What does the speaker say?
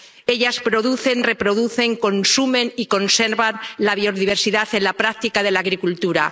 Ellas producen, reproducen, consumen y conservan la biodiversidad en la práctica de la agricultura.